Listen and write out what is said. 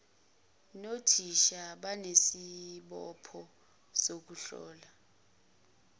nothisha banesibopho sokuhlola